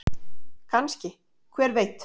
Kannske- hver veit?